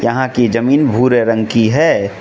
यहां की जमीन भूरे रंग की है।